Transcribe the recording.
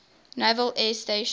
naval air station